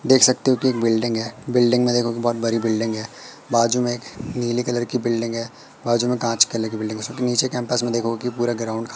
देख सकते हो कि एक बिल्डिंग है बिल्डिंग में देखो कि बहोत बड़ी बिल्डिंग है बाजू में एक नीले कलर की बिल्डिंग है बाजू में कांच की अलग बिल्डिंग है नीचे कैंपस में देखो कि पूरा ग्राउंड खा--